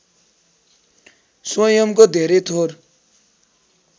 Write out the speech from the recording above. स्वयंको धेरै थोर